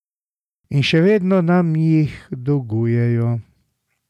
In še vedno nam jih dolgujejo.